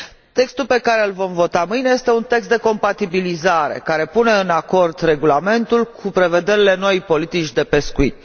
Textul pe care îl vom vota mâine este un text de compatibilizare, care asigură coerența regulamentului cu prevederile noii politici de pescuit.